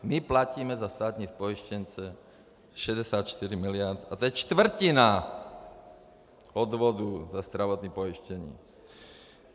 My platíme za státní pojištěnce 64 miliard a to je čtvrtina odvodů za zdravotní pojištění.